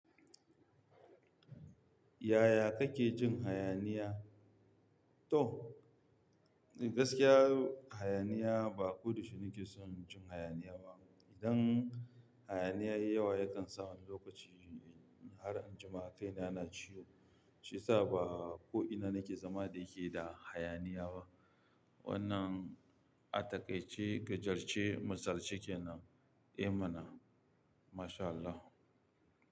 Yaya kake jin hayaniya? To, gaskiya hayaniya ba ko da shi nake son jin hayaniya ba. Idan hayaniya yayi yawa yakan sa wani lokaci har injima kaina na ciwo. Shi yasa ba ko ina nake zama da yake da hayaniya ba. Wannan ataƙai ce, gajarce, masalci kenan. Eh mana, masha Allah.